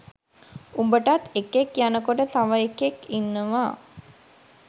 උඹටත් එකෙක් යනකොට තව එකෙක් ඉන්නවා